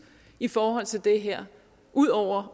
i forhold til det her ud over